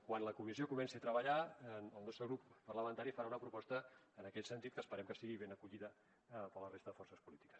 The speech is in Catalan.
quan la comissió comenci a treballar el nostre grup parlamentari farà una proposta en aquest sentit que esperem que sigui ben acollida per la resta de forces polítiques